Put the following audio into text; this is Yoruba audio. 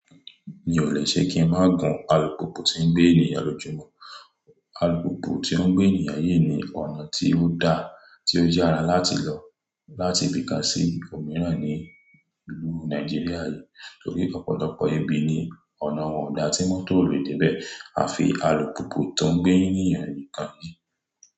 Mi ò lè ṣe kí n má gun alùpùpù ti ń gbé ènìyàn lójumo. Alùpùpù tió ń gbé ènìyàn yii ni ọ̀nà tí ó da, tí ó yàrá láti lọ láti ibi kan sí ibi òmíràn ní ìlú Nàìjíríà yìí. Torí ọ̀pọ̀lọpọ̀ ibi ní ọ̀nà wọn kò dá tí mọ́tò lè dé bẹ́ẹ̀, a fi alùpùpù tó ń gbé ènìyàn nìkan ni.